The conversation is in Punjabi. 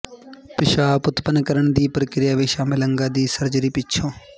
ਪਿਸ਼ਾਬ ਉਤਪਨ ਕਰਨ ਦੀ ਪ੍ਰਕਿਰਿਆ ਵਿਚ ਸ਼ਾਮਲ ਅੰਗਾਂ ਦੀ ਸਰਜਰੀ ਪਿੱਛੋਂ